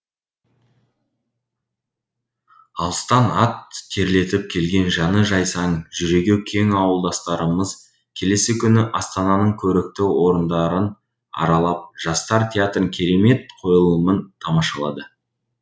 алыстан ат терлетіп келген жаны жайсаң жүрегі кең ауылдастарымыз келесі күні астананың көрікті орындарын аралап жастар театрының керемет қойылымын тамашалады